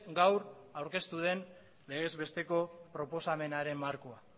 gaur aurkeztu den legezbesteko proposamenaren markoa